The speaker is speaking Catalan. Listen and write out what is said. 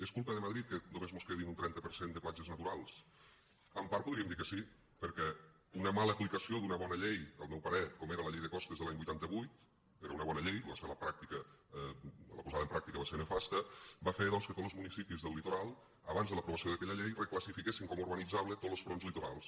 és culpa de madrid que només mos quedin un trenta per cent de platges naturals en part podríem dir que sí perquè una mala aplicació d’una bona llei al meu parer com era la llei de costes de l’any vuitanta vuit era una bona llei la posada en pràctica va ser nefasta va fer doncs que tots los municipis del litoral abans de l’aprovació d’aquella llei requalifiquessin com a urbanitzable tots los fronts litorals